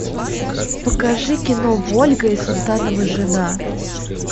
покажи кино вольга и султанова жена